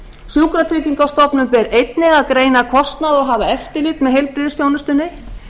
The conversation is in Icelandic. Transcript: sjúkratryggingastofnun ber einnig að greina kostnað og hafa eftirlit með heilbrigðisþjónustunni